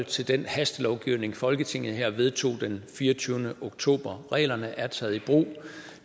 til den hastelovgivning folketinget her vedtog den fireogtyvende oktober reglerne er taget i brug